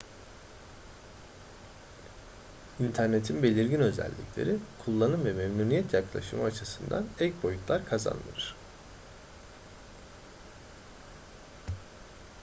i̇nternetin belirgin özellikleri kullanım ve memnuniyet yaklaşımı açısından ek boyutlar kazandırır